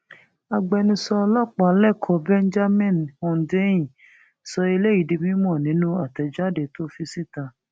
agbẹnusọ ọlọpàá lẹkọọ benjamin hondnyin sọ eléyìí di mímọ nínú àtẹjáde tó tó fi síta